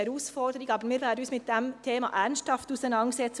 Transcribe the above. Wir werden uns mit diesem Thema ernsthaft auseinandersetzen.